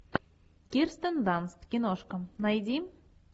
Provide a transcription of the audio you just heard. кирстен данст киношка найди